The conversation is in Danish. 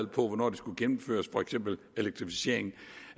hvornår de skulle gennemføres for eksempel elektrificering